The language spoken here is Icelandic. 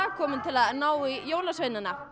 komin til að ná í jólasveinana